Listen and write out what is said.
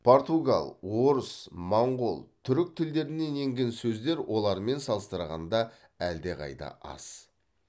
португал орыс моңғол түрік тілдерінен енген сөздер олармен салыстырғанда әлдеқайда аз